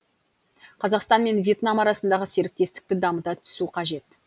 қазақстан мен вьетнам арасындағы серіктестікті дамыта түсу қажет